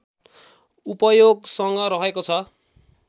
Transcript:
उपयोगसँग रहेको छ